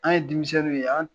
An ye denmisɛnninw ye, an